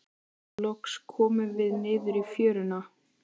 Loks komum við niður í fjöruna.